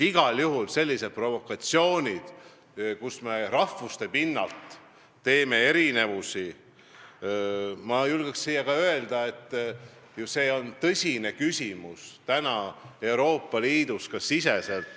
Igal juhul on sellised provokatsioonid, kui me rahvuste põhjal toome välja erinevusi, ma julgeks öelda, tõsine küsimus täna ka Euroopa Liidus.